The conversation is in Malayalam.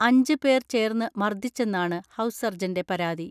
അഞ്ച് പേർ ചേർന്ന് മർദ്ദിച്ചെന്നാണ് ഹൗസ് സർജന്റെ പരാതി.